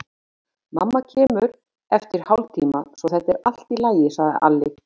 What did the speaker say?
Mamma kemur eftir hálftíma, svo þetta er allt í lagi, sagði Alli.